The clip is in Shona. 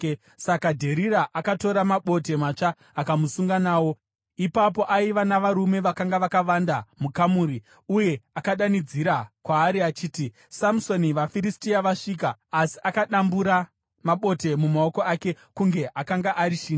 Saka Dherira akatora mabote matsva akamusunga nawo. Ipapo, aiva navarume vakanga vakavanda mukamuri, uye akadanidzira kwaari achiti, “Samusoni, vaFiristia vasvika!” Asi akadambura mabote mumaoko ake kunge akanga ari shinda.